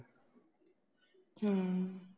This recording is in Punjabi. ਹੂੰ